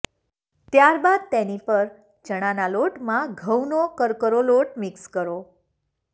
ત્યાર બાદ તેની પર ચણાના લોટમાં ઘઉંનો કરકરો લોટ મિક્સ કરો